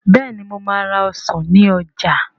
Bẹ́ẹ̀ni mo máa ra ọsàn ní ọjà